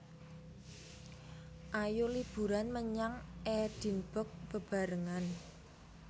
Ayo liburan menyang Edinburgh bebarengan